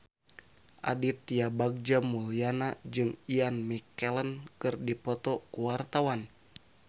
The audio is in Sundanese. Aditya Bagja Mulyana jeung Ian McKellen keur dipoto ku wartawan